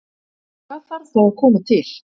En hvað þarf þá að koma til?